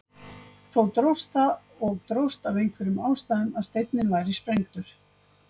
Þó dróst það og dróst af einhverjum ástæðum að steinninn væri sprengdur.